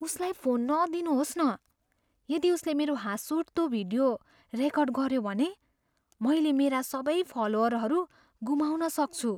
उसलाई फोन नदिनुहोस् न । यदि उसले मेरो हाँसउठ्दो भिडियो रेकर्ड गऱ्यो भने, मैले मेरा सबै फलोअरहरू गुमाउन सक्छु।